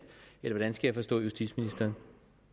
eller hvordan skal jeg forstå justitsministeren